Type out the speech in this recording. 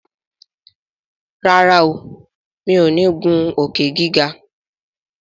ràrá o mi'o ní ngun Òkè-gíga.